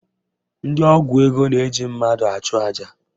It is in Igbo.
Ndị ọgwụ ego na-eji mmadụ achụ aja